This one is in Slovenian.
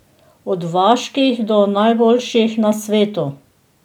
Od vaških do najboljših na svetu.